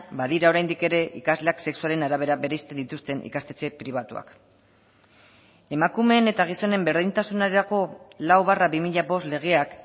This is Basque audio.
badira oraindik ere ikasleak sexuaren arabera bereizten dituzten ikastetxe pribatuak emakumeen eta gizonen berdintasunerako lau barra bi mila bost legeak